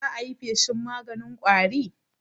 za ayi feshin maganin ƙwari?